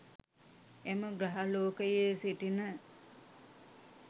එම ග්‍රහලෝකයේ සිටින